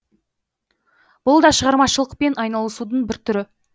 бұл да шығармашылықпен айналысудың бір түрі